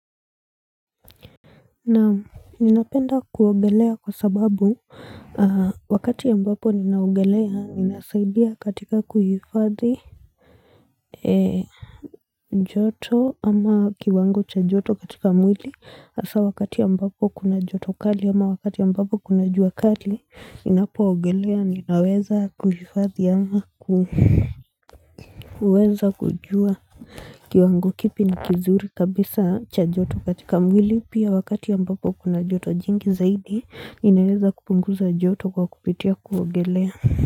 Naam ninapenda kuogelea kwa sababu wakati ambapo ninaogelea ninasaidia katika kuhifadhi joto ama kiwango cha joto katika mwili hasa wakati ambapo kuna joto kali ama wakati ambapo kuna jua kali Ninapoogelea ninaweza kuhifadhi ama kuweza kujua kiwango kipi ni kizuri kabisa cha joto katika mwili pia wakati ambapo kuna joto jingi zaidi inaweza kupunguza joto kwa kupitia kuogelea.